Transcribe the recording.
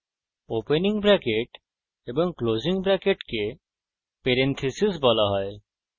opening bracket এবং closing bracket parenthesis বলা হয়